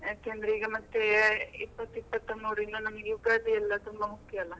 ಯಾಕಂದ್ರೆ ಈಗ ಮತ್ತೆ ಇಪ್ಪತ್ತು ಇಪ್ಪತ್ತ ಮೂರಿಂದ ನಮಗೆ ಯುಗಾದಿ ಎಲ್ಲ ತುಂಬಾ ಮುಖ್ಯ ಅಲ್ಲಾ.